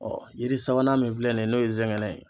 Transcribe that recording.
yiri sabanan min filɛ nin ye n'o ye zɛngɛnɛ ye.